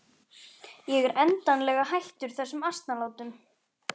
Ég er endanlega hættur þessum asnalátum.